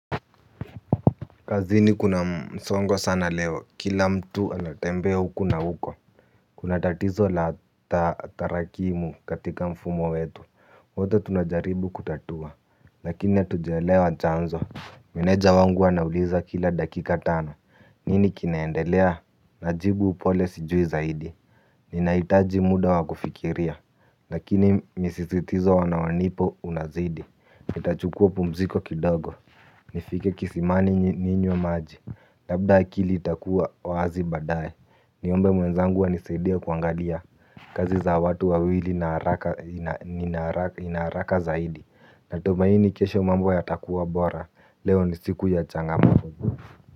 Kazini kuna msongo sana leo kila mtu anatembea huku na huko. Kuna tatizo la tarakimu katika mfumo wetu wote tunajaribu kutatua. Lakini hatujaelewa chanzo. Meneja wangu anauliza kila dakika tano. Nini kinaendelea. Najibu upole sijui zaidi. Ninahitaji muda wa kufikiria. Lakini misisitizo wanawanipo unazidi nitachukua pumziko kidogo nifike kisimani ninywe maji. Labda akili itakuwa wazi baadae. Niombe mwenzangu anisaidie kuangalia kazi za watu wawili ina haraka zaidi. Natumaini kesho mambo ya takuwa bora. Leo ni siku ya changamoto.